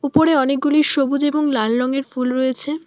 উপরে অনেকগুলি সবুজ এবং লাল রঙের ফুল রয়েছে।